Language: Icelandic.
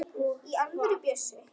Í alvöru, Bjössi.